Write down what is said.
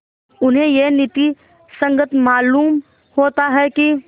उन्हें यह नीति संगत मालूम होता है कि